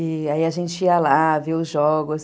E aí a gente ia lá, via os jogos.